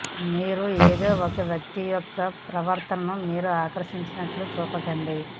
మీరు ఏదో ఒక వ్యక్తి యొక్క ప్రవర్తనను మీరు ఆకర్షించినట్లు చూపకండి